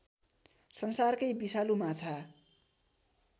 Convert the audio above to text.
संसारकै विषालु माछा